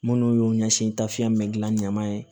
Minnu y'u ɲɛsin tafiyɛn bɛ gilan ɲama ye